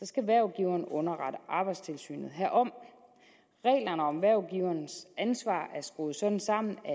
skal hvervgiveren underrette arbejdstilsynet herom reglerne om hvervgiverens ansvar er skruet sådan sammen at